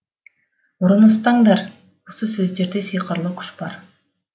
ұрыны ұстаңдар осы сөздерде сиқырлы күш бар